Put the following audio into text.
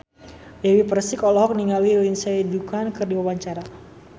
Dewi Persik olohok ningali Lindsay Ducan keur diwawancara